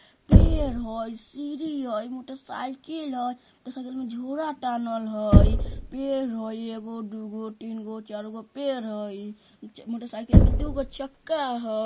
पेड़ हई सीढ़ी हई मोटरसाइकिल हई आउ सगरो में झोला टाँगल हई पेड़ हई एगो दुगो तीनगो चारगो पेड़ हई च मोटरसाइकिल मे दुगो चक्का हई ।